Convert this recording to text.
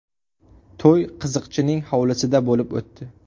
To‘y qiziqchining hovlisida bo‘lib o‘tdi.